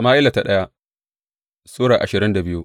daya Sama’ila Sura ashirin da biyu